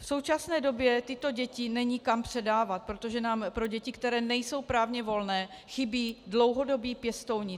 V současné době tyto děti není kam předávat, protože nám pro děti, které nejsou právně volné, chybí dlouhodobí pěstouni.